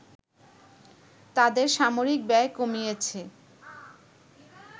তাদের সামরিক ব্যয় কমিয়েছে